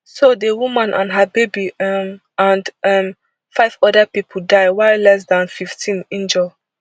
so di woman her baby um and um five oda pipo die while less dan fifteen injure